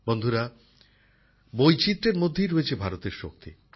বন্ধুরা বৈচিত্রের মধ্যেই রয়েছে ভারতের শক্তি